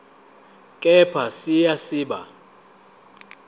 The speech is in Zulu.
kepha siya siba